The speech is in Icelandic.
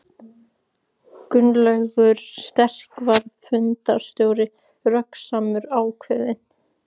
Gunnlaugur sterki var fundarstjóri, röggsamur, ákveðinn.